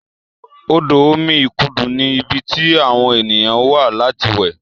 odo omí ikudu ní ibí tí àwọn ènìyàn wá láti we